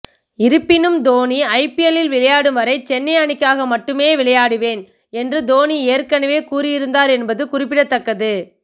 இருப்பினும் தோனி ஐபிஎல்லில் விளையாடும் வரை சென்னை அணிக்காக மட்டும் விளையாடுவேன் என்று தோனி ஏற்கனவே கூறியிருந்தார் என்பது குறிப்பிடத்தக்கது